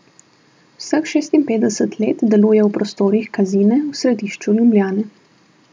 Vseh šestinpetdeset let deluje v prostorih Kazine v središču Ljubljane.